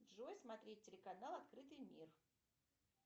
джой смотреть телеканал открытый мир